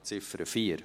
Ziffer 4: